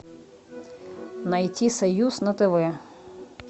найти союз на тв